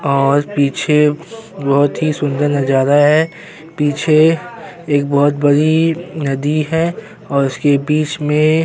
और पीछे बहुत ही सुंदर नज़रा है पीछे एक बहुत बड़ी नदी है और उसके बीच में --